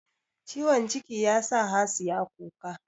Ciwon ciki yasa Hasiya kuka